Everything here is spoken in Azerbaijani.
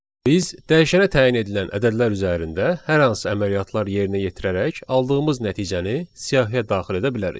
Biz dəyişənə təyin edilən ədədlər üzərində hər hansı əməliyyatlar yerinə yetirərək aldığımız nəticəni siyahıya daxil edə bilərik.